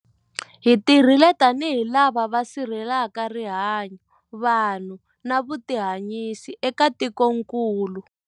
Hi tirhile tanihi lava va sirhelelaka rihanyu, vanhu na vutihanyisi eka tikokulu.